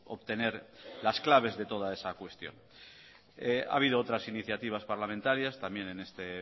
obtener las claves de toda esa cuestión ha habido otras iniciativas parlamentarias también en este